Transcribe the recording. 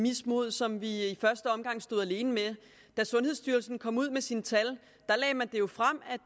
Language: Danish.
mismod som vi i første omgang stod alene med da sundhedsstyrelsen kom ud med sine tal lagde man jo frem at